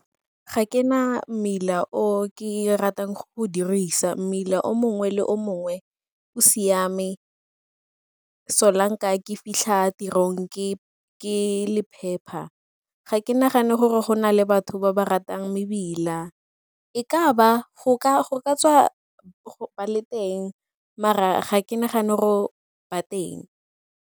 Ga ke na mmila o ke ratang go o dirisa, mmila o mongwe le o mongwe o siame ke fitlha tirong ke empa ga ke nagane gore go na le batho ba ba ratang mebila go ka tswa ba le teng mara ga ke nagane gore ba teng.